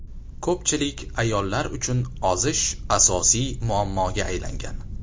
Ko‘pchilik ayollar uchun ozish asosiy muammoga aylangan.